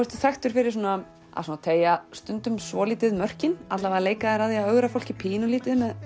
ertu þekktur fyrir að teygja svolítið mörkin alla vega leika þér að því að ögra fólki pínulítið með